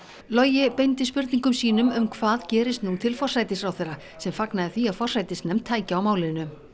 logi beindi spurningum sínum um hvað gerist nú til forsætisráðherra sem fagnaði því að forsætisnefnd tæki á málinu